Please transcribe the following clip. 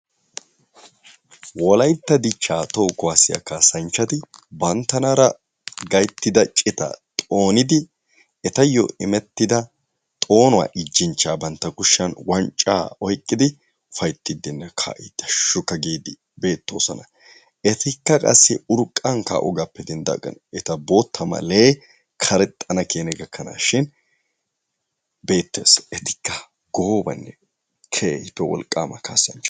Wolaytta dichcha toho kuwasiya kasanchati banttanara gayttida cita xoonidi etay immetida xoonuwa ijjinchaa bantta kushiyan wancca oyqqidi ufayttidine ka'idi hashshukka gidi beetosona. Etika qassi urqqan kaogappe dendagan bootta maalaye karexxanakenay gakanashin beetes. Etika goobanee keehippe wolqqama kasanchcha.